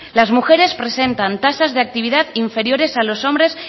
las mujeres presentan tasas de actividad inferiores a los hombres